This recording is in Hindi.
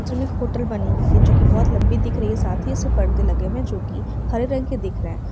जो मे एक बनी हुई है जो की बहुत लंबी दिख रही है| साथ ही मे उसमे पर्दे लगे हुए है जो की हरे रंग का दिख रहा है ।